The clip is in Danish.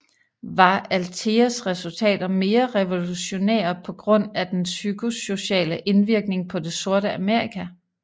Var Altheas resultater mere revolutionære på grund af den psykosociale indvirkning på det Sorte Amerika